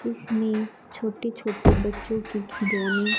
इसमें छोटे छोटे बच्चों के खिलौने--